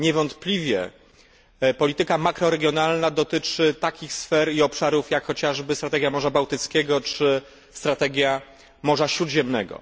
Niewątpliwie polityka makroregionalna dotyczy takich sfer i obszarów, jak chociażby strategia Morza Bałtyckiego czy strategia Morza Śródziemnego.